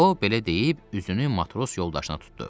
O belə deyib üzünü matros yoldaşına tutdu.